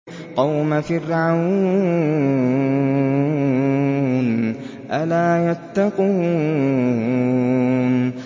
قَوْمَ فِرْعَوْنَ ۚ أَلَا يَتَّقُونَ